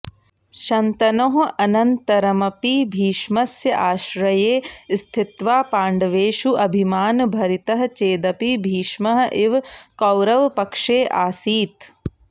शन्तनोः अनन्तरमपि भीष्मस्य आश्रये स्थित्वा पाण्डवेषु अभिमानभरितः चेदपि भीष्मः इव कौरवपक्षे आसीत्